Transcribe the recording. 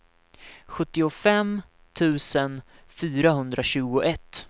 sjuttiofem tusen fyrahundratjugoett